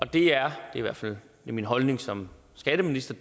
det er i hvert fald min holdning som skatteminister